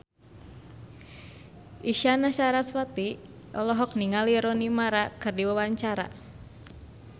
Isyana Sarasvati olohok ningali Rooney Mara keur diwawancara